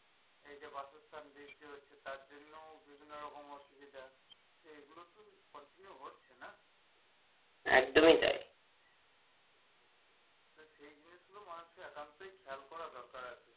এই যে বাসস্থান বৃদ্ধি হচ্ছে তার জন্য বিভিন্ন রকম অসুবিধা এইগুলো তো continue হচ্ছে না একদমই তাই তা সেই জিনিসগুলো মানুষের একান্তই খেয়াল করা দরকার।